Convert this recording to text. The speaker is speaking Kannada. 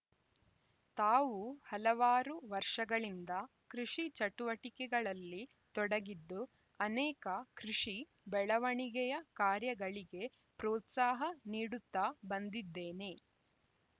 ತಾವೂ ಹಲವಾರು ವರ್ಷಗಳಿಂದ ಕೃಷಿ ಚಟುವಟಿಕೆಗಳಲ್ಲಿ ತೊಡಗಿದ್ದು ಅನೇಕ ಕೃಷಿ ಬೆಳವಣಿಗೆಯ ಕಾರ್ಯಗಳಿಗೆ ಪ್ರೋತ್ಸಾಹ ನೀಡುತ್ತಾ ಬಂದಿದ್ದೇನೆ